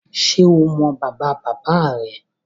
Ṣé o mọ bàbáabàbáa rẹ?